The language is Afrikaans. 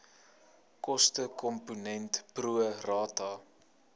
kostekomponent pro rata